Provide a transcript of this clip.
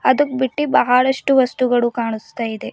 ಅದು ಬಿಟ್ಟಿ ಬಹಳಷ್ಟು ವಸ್ತುಗಳು ಕಾಣಿಸ್ತಾ ಇದೆ.